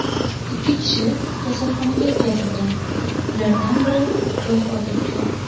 Ikki kishi kasalxonaga yetkazilgan, ulardan biri vafot etgan.